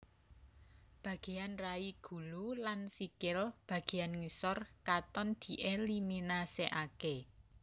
Bageyan rai gulu lan sikil bageyan ngisor katon dieliminasekake